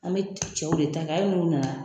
An be cɛw de ta kɛ, hali n'u nana.